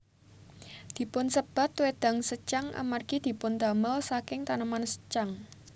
Dipunsebat wédang secang amargi dipundamel saking taneman secang